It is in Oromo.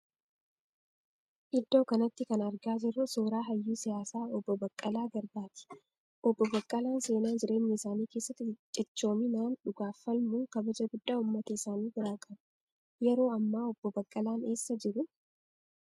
Iddoo kanatti kan argaa jirru suuraa hayyuu siyaasaa obbo Baqqalaa Garbaati. Obbo Baqqalaan seenaa jireenya isaanii keessatti ciccoominaan dhugaaf falmuun kabaja guddaa uummata isaanii biraa qabu. Yeroo hammaa obbo Baqqalaan eessa jiru?